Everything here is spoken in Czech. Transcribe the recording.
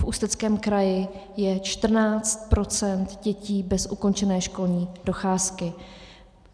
V Ústeckém kraji je 14 % dětí bez ukončené školní docházky.